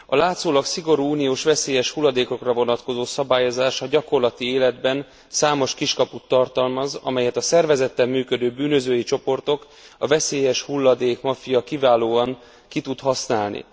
A látszólag szigorú uniós veszélyes hulladékokra vonatkozó szabályozás a gyakorlati életben számos kiskaput tartalmaz, amelyet a szervezetten működő bűnözői csoportok, a veszélyeshulladék maffia kiválóan ki tud használni.